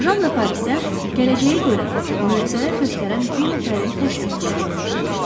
Jan Parisiyə gələcəyi görən, möcüzələr göstərən bir nəfərin təşrif buyurduğunu eşitmişdi.